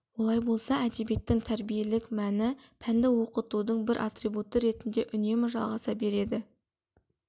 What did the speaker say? олай болса әдебиеттің тәрбиелік мәні пәнді оқытудың бір атрибуты ретінде үнемі жалғаса береді